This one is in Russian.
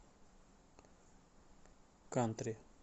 кантри